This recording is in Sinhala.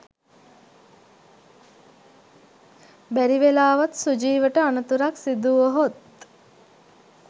බැරි වෙලාවත් සුජීවට අනතුරක් සිදු වුවහොත්